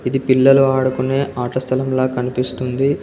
ఇది పిల్లలు ఆడుకునే ఆటస్థలం లా కనిపిస్తుంది.